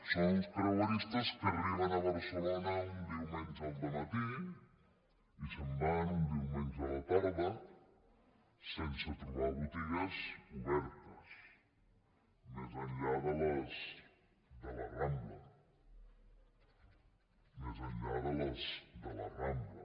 són uns creueristes que arriben a barcelona un diumenge al dematí i se’n van un diumenge a la tarda sense trobar botigues obertes més enllà de les de la rambla més enllà de les de la rambla